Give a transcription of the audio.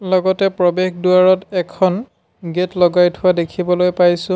লগতে প্ৰবেশ দুৱাৰত এখন গেট লগাই থোৱা দেখিবলৈ পাইছোঁ।